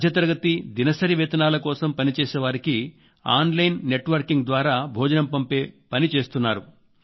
మధ్యతరగతి దినసరి వేతనాల కోసం పనిచేసేవారికి ఆన్ లైన్ నెట్ వర్కింగ్ ద్వారా టిఫిన్ పంపే పని చేస్తున్నారు